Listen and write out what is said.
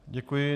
Děkuji.